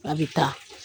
A bɛ taa